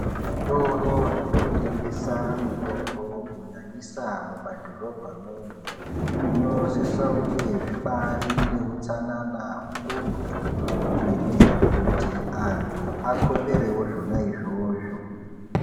Zvitoro zvinotengesa mitombo kunyanyisa mumadhoromba mwomwo, zvinosisa kunge zvibarine utsanana hukurutu. Kuitira kuti antu akoperevo zvona izvozvo.